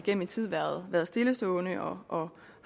gennem en tid været været stillestående og